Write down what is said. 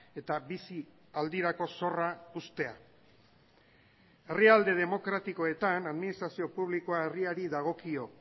eta bizi aldirako zorra uztea herrialde demokratikoetan administrazio publikoa herriari dagokio